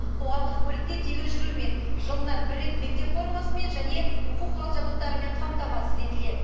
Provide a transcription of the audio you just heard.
қоғамдық көлікте тегін жүрумен жылына бір рет мектеп формасымен және оқу құрал жабдықтарымен қамтамасыз етіледі